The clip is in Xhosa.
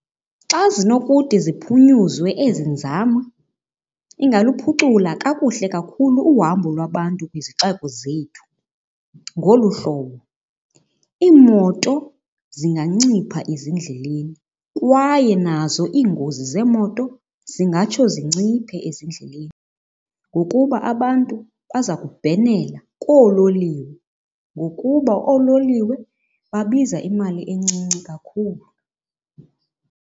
Xa zinokude ziphunyuzwe ezi nzame ingaluphucula kakuhle kakhulu uhambo lwabantu kwizixeko zethu ngolu hlobo. Iimoto zingancipha ezindleleni kwaye nazo iingozi zeemoto singatsho zinciphe ezindleleni ngokuba abantu baza kubhenela koololiwe ngokuba oololiwe babiza imali encinci kakhulu.